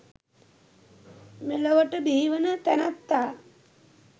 මෙලොවට බිහිවන තැනැත්තා